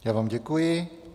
Já vám děkuji.